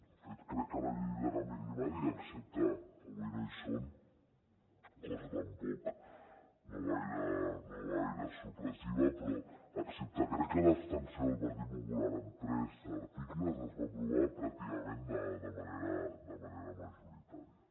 de fet crec que la llei del canvi climàtic excepte avui no hi són cosa tampoc no gaire sorprenent crec que l’abstenció del partit popular en tres articles es va aprovar pràcticament de manera majoritària